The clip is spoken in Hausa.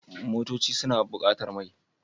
Motoci suna buƙatar mai.